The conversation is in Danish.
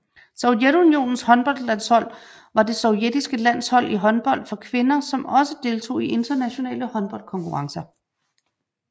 Sovjetunionens håndboldlandshold var det sovjetiske landshold i håndbold for kvinder som også deltog i internationale håndboldkonkurrencer